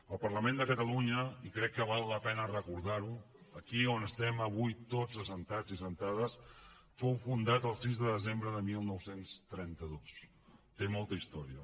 el parlament de catalunya i crec que val la pena recordar ho aquí on estem avui tots asseguts i assegudes fou fundat el sis de desembre de dinou trenta dos té molta història